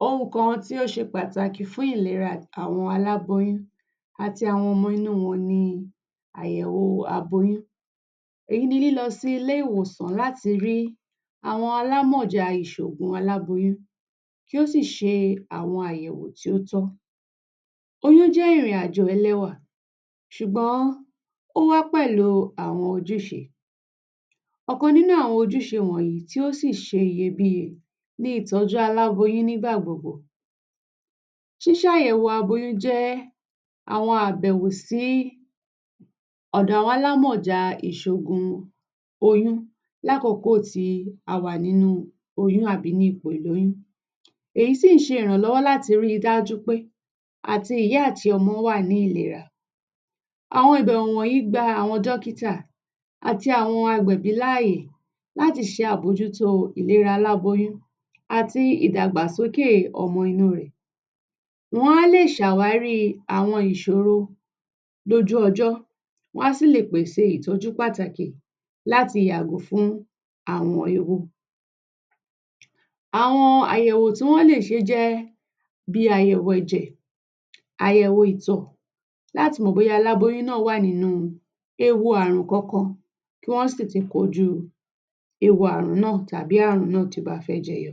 Ohun kan tí ó ṣe pàtàkì fún ìlera àwọn aláboyún àti àwọn ọmọ inú wọn ni àyẹ̀wò aboyún. Èyí ni lílọ sí ilé ìwòsàn láti rí àwọn alámọ̀jà ìṣògùn aláboyún, kí ó sì ṣe àwọn àyẹ̀wò tí ó tọ́. Oyún jẹ́ ìrìn-àjò ẹlẹ́wà ṣùgbọ́n ó wá pẹ̀lú àwọn ojúṣe. Ọkàn nínú àwọn ojúṣe wọ̀nyí tí ó sì ṣe iyebíye ni ìtọ́jú aláboyún nígbà gbogbo. Ṣísàyẹ̀wò aboyún jẹ́ àwọn àbẹ̀wò sí ọ̀dọ̀ àwọn alámọ̀jà ìṣògùn oyún lákòókò tí a wà nínú oyún àbí ní ipò ìlóyún. Èyí sì ń ṣe ìrànlọ́wọ́ láti rí i dájú pé àti ìyá àti ọmọ wà ní ìlera. Àwọn ìbẹ̀wọ̀ wọ̀nyí gba àwọn dókítà àti àwọn agbẹ̀bí láàyè láti ṣe àbójútó ìlera aláboyún àti ìdàgbàsókè ọmọ inú rẹ̀. Wọn á lè ṣàwárí àwọn ìṣòro dójú ọjọ́, wá sì lè pèsè ìtọ́jú pàtàkì láti yàgò fún àrùn ewu. Àwọn àyẹ̀wò tí wọ́n lè ṣe jẹ́ bí àyẹ̀wò ẹ̀jẹ̀, àyẹ̀wò ìtọ̀ láti mọ̀ bóyá aláboyún náà wà nínú ewu àrùn kankan, kí wọ́n sì ti kọjú ewu àrùn náà tàbí àrùn náà tí ó bá fẹ́ jẹyọ.